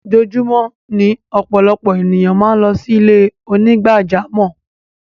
Ojúọ̀júmọ̀ ni ọpọlọpọ̀ ẹ̀niyàn màá ń lọ sí ilẹ̀-onígbàjàmọ́.